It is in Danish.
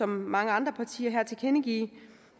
mange andre partier her tilkendegive